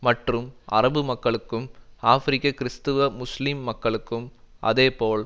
மற்றும் அரபு மக்களுக்கும் ஆபிரிக்க கிறிஸ்தவ முஸ்லீம் மக்களுக்கும் அதேபோல்